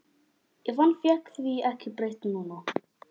En hann fékk því ekki breytt núna.